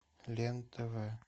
лен тв